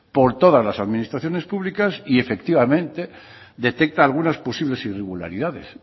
por todas las administraciones públicas y efectivamente detecta algunas posibles irregularidades